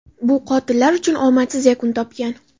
bu qotillar uchun omadsiz yakun topgan.